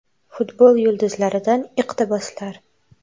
Futbol yulduzlaridan iqtiboslar.